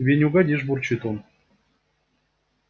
тебе не угодишь бурчит он